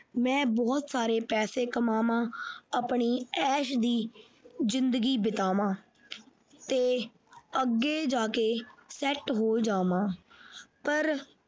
ਮੈਂ ਬਹੁਤ ਸਾਰਾ ਪੈਸੇ ਕਮਾਵਾਂ ਆਪਣੀ ਐਸ਼ ਦੀ ਜਿੰਦਗੀ ਬਿਤਾਵਾਂ ਤੇ ਅੱਗੇ ਜਾ ਕੇ set ਹੋ ਜਾਵਾਂ ਪਰ।